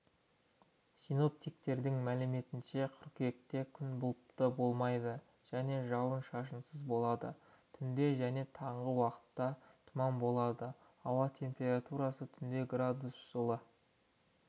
синоптиктердің мәліметінше қыркүйекте күн бұлтты болмайды және жауын шашынсыз болады түнде және таңғы уақытта тұман болады ауа температурасы түнде градус жылы